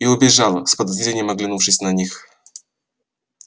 и убежала с подозрением оглянувшись на них